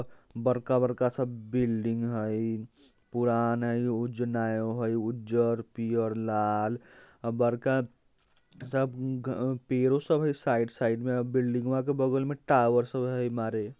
बरका बरका सा बिल्डिंग हईपुरान हई उज्ज नए हुईउज्जर पियर लाल बरका सब अ ग पिरो सब है साइड साइड में बिल्डिंग वा के बगल मे टॉवर सो हई मारे।